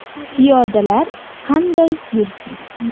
Piyodalar qanday yursin?